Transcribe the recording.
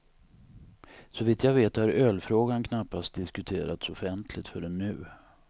Såvitt jag vet har ölfrågan knappast diskuterats offentligt förrän nu.